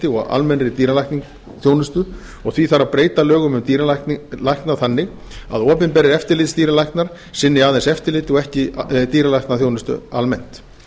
og almennri dýralæknaþjónustu og því þarf að breyta lögum um dýralækna þannig að opinberir eftirlitsdýralæknar sinni aðeins eftirliti en ekki dýralæknaþjónustu almennt